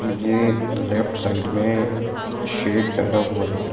मुझे left side में shed डला हुआ दिख रहा --